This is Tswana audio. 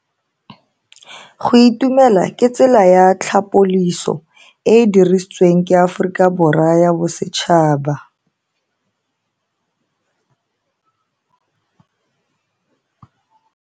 Go itumela ke tsela ya tlhapoliso e e dirisitsweng ke Aforika Borwa ya Bosetšhaba.